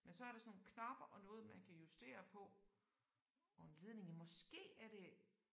Men så er der sådan nogle knapper og noget man kan justere på og en ledning ja måske er det